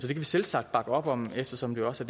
vi selvsagt bakke op om eftersom det også